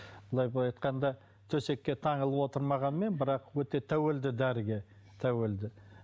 былай былай айтқанда төсекке таңылып отырмағанмен бірақ өте тәуелді дәріге тәуелді